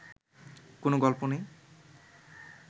কোন গল্প নেই